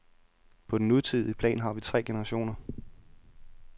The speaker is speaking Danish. På den nutidige plan har vi tre generationer.